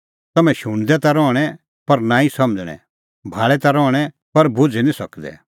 तम्हैं शुणदै ता रहणैं पर नांईं समझ़णैं भाल़ै ता रहणैं पर भुझ़ी निं सकदै